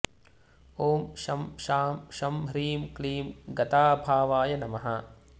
ॐ शं शां षं ह्रीं क्लीं गताभावाय नमः